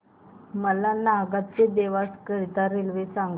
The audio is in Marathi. मला नागदा ते देवास करीता रेल्वे सांगा